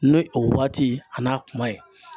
Ni o waati a n'a kuma ye